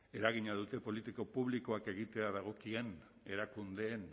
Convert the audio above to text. eragina duten politika publikoak egitea dagokien erakundeen